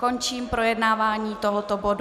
Končím projednávání tohoto bodu.